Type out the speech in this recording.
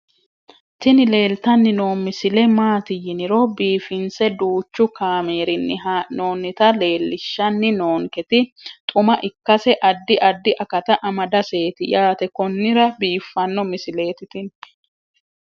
tini leeltanni noo misile maaati yiniro biifinse danchu kaamerinni haa'noonnita leellishshanni nonketi xuma ikkase addi addi akata amadaseeti yaate konnira biiffanno misileeti tini